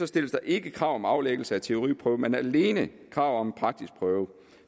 stilles der ikke krav om aflæggelse af teoriprøve men alene krav om en praktisk prøve